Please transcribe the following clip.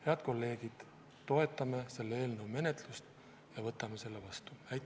Head kolleegid, toetame selle eelnõu menetlust ja võtame selle vastu!